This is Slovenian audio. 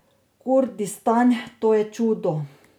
Kurdistan, to je čudo.